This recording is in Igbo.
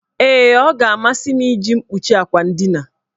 Ee, ọ ga-amasị m iji mkpuchi akwa ndina.